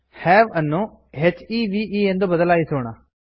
have ಅನ್ನು ಹೆವೆ ಎಂದು ಬದಲಾಯಿಸೋಣ